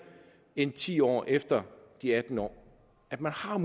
end ti år efter de atten år at man har